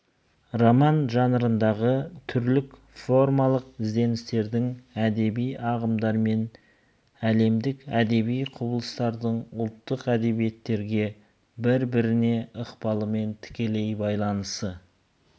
роман жанрындағы түрлік формалық ізденістердің әдеби ағымдармен әлемдік әдеби құбылыстардың ұлттық әдебиеттерге бір-біріне ықпалымен тікелей байланысты